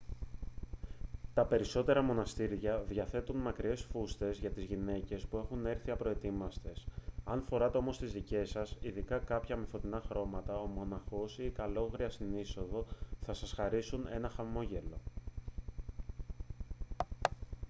τα περισσότερα μοναστήρια διαθέτουν μακριές φούστες για τις γυναίκες που έχουν έρθει απροετοίμαστες αν φέρετε όμως τις δικές σας ειδικά κάποια με φωτεινά χρώματα ο μοναχός ή η καλόγρια στην είσοδο θα σας χαρίσουν ένα χαμόγελο